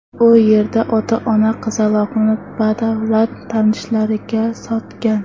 U yerda ota-ona qizaloqni badavlat tanishlariga sotgan.